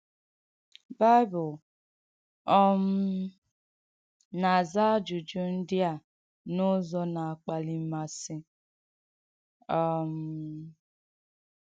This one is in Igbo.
Bìbìl um na-aza ajụ̀jụ̀ ndị̀ a n’ùzọ̀ na-akpàlí màsị. um